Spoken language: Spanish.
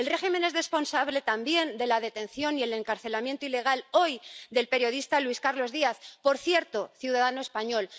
El régimen es responsable también de la detención y el encarcelamiento ilegal —hoy— del periodista Luis Carlos Díaz —por cierto, ciudadano español